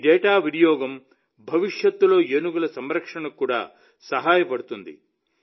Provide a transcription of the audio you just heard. ఈ డేటా వినియోగం భవిష్యత్తులో ఏనుగుల సంరక్షణకు కూడా సహాయపడుతుంది